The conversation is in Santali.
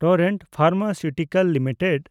torrent Pharmaceuticals limited